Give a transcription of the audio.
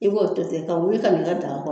I b'o to tɛ ka wuli ka i ka daga kɔrɔ.